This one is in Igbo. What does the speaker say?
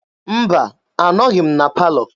Mba, anọghị m na palọ.